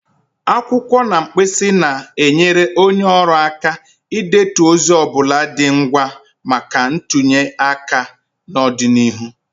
Akwụkwọ na mkpịsị na-enyere onye ọrụ aka idetu ozi ọ bụla dị ngwa maka ntụnye aka n'ọdịnihu.